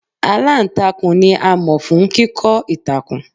Aláǹtakùn ni a mọ̀ fún kíkọ́ ìtàkùn.